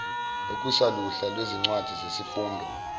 okusaluhla lwezincwadi zesifundo